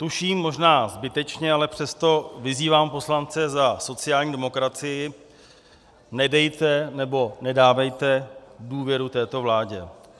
Tuším, možná zbytečně, ale přesto vyzývám poslance za sociální demokracii, nedejte nebo nedávejte důvěru této vládě.